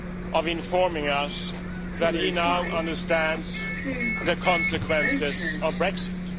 of informing us that he now understands the consequences of Brexit.